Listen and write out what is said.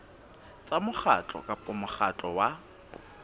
tsa mokgatlo kapa mokgatlo wa